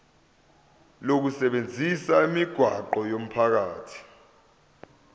lokusebenzisa imigwaqo yomphakathi